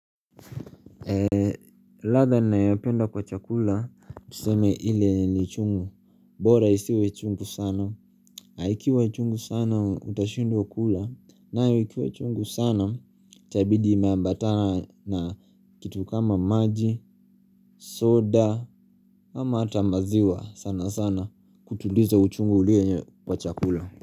Latha nayopenda kwa chakula, tuseme ile ni chungu, bora isiwe chungu sana, aikiwa chungu sana utashindwa kula, naikiwa chungu sana, chabidi imeambata na kitu kama maji, soda, ama hata maziwa sana sana kutuliza uchungu ulienye kwa chakula.